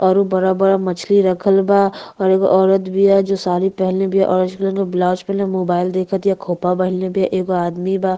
और उ बड़ा-बड़ा मछली रखल बा और एगो औरत बिया जो साड़ी पहनले बिया ऑरेंज कलर के ब्लाउज पहनले मोबाइल देखतिया खोपा पहनले बिया एगो आदमी बा।